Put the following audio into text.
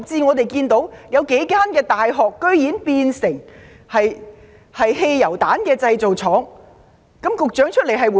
我們又看到有幾間大學竟然變成汽油彈製造廠，局長有何回應？